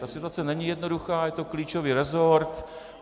Ta situace není jednoduchá, je to klíčový resort.